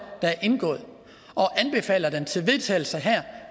der er indgået og anbefaler den til vedtagelse her